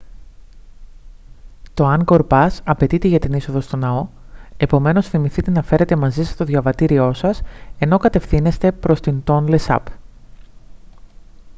το angkor pass απαιτείται για την είσοδο στον ναό επομένως θυμηθείτε να φέρετε μαζί σας το διαβατήριό σας ενώ κατευθύνεστε προς την τόνλε σαπ